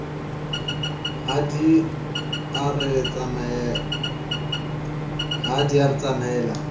ha di a re tsamaela